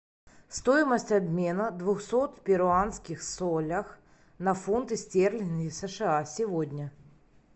стоимость обмена двухсот перуанских солей на фунты стерлинги сша сегодня